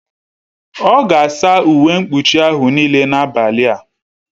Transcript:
Ọ ga-asa uwe mkpuchi ahụ niile n'abalị a